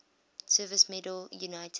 service medal united